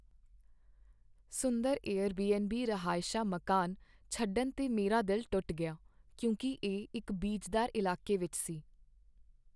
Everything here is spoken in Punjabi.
ਸੁੰਦਰ ਏਅਰਬੀਐਨਬੀ ਰਹਾਇਸ਼ਾ ਮਕਾਨ ਛੱਡਣ 'ਤੇ ਮੇਰਾ ਦਿਲ ਟੁੱਟ ਗਿਆ ਕਿਉਂਕਿ ਇਹ ਇੱਕ ਬੀਜਦਾਰ ਇਲਾਕੇ ਵਿੱਚ ਸੀ।